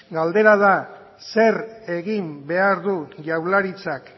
galdera da zer egin behar du jaurlaritzak